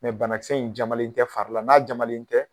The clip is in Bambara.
Mɛ bannakisɛ in jamananen tɛ farila, n'a jamanen tɛ.